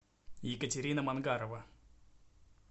екатерина мангарова